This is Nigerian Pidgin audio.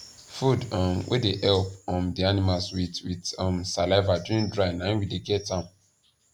food um wey dey help um the animals with with um saliva during dry na him we dey get am